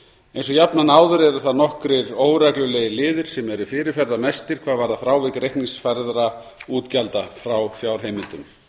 eins og jafnan áður eru það nokkrir óreglulegir liðir sem eru fyrirferðarmestir hvað varðar frávik reikningsfærðra útgjalda frá fjárheimildum